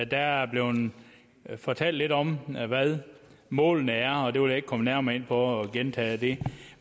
der er blevet fortalt lidt om hvad målene er og jeg vil ikke komme nærmere ind på det og gentage det